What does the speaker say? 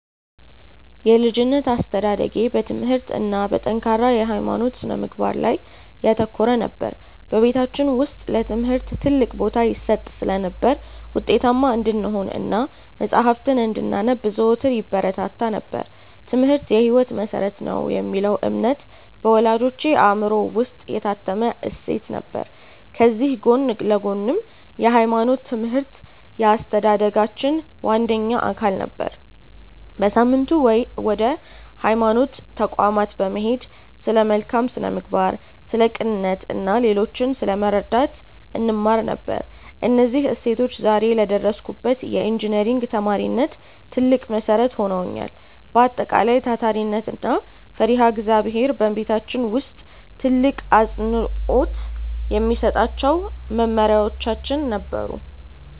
የልጅነት አስተዳደጌ በትምህርት እና በጠንካራ የሃይማኖት ስነ-ምግባር ላይ ያተኮረ ነበር። በቤታችን ውስጥ ለትምህርት ትልቅ ቦታ ይሰጥ ስለነበር፣ ውጤታማ እንድንሆን እና መጽሐፍትን እንድናነብ ዘወትር ይበረታታ ነበር፤ "ትምህርት የህይወት መሰረት ነው" የሚለው እምነት በወላጆቼ አእምሮ ውስጥ የታተመ እሴት ነበር። ከዚህ ጎን ለጎንም የሃይማኖት ትምህርት የአስተዳደጋችን ዋነኛ አካል ነበር። በየሳምንቱ ወደ ሃይማኖት ተቋማት በመሄድ ስለ መልካም ስነ-ምግባር፣ ስለ ቅንነት እና ሌሎችን ስለመርዳት እንማር ነበር። እነዚህ እሴቶች ዛሬ ለደረስኩበት የኢንጂነሪንግ ተማሪነት ትልቅ መሰረት ሆነውኛል። በአጠቃላይ፣ ታታሪነት እና ፈሪሃ እግዚአብሔር በቤታችን ውስጥ ትልቅ አፅንዖት የሚሰጣቸው መመሪያዎቻችን ነበሩ።